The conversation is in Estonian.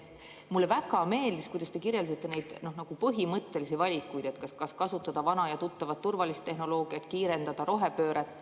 Mulle väga meeldis, kuidas te kirjeldasite neid põhimõttelisi valikuid, kas kasutada vana ja tuttavat, turvalist tehnoloogiat või kiirendada rohepööret.